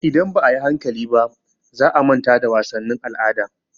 Idan ba a yi hankali ba, za a manta da wasannin al'ada.